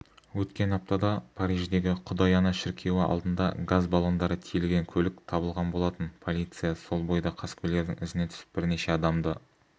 өткен аптада париждегі құдай ана шіркеуі алдында газ баллондары тиелген көлік табылған болатын полиция сол бойда қаскөйлердің ізіне түсіп бірнеше адамды